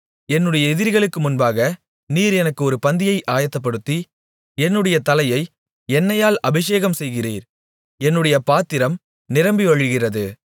என்னுடைய எதிரிகளுக்கு முன்பாக நீர் எனக்கு ஒரு பந்தியை ஆயத்தப்படுத்தி என்னுடைய தலையை எண்ணெயால் அபிஷேகம்செய்கிறீர் என்னுடைய பாத்திரம் நிரம்பி வழிகிறது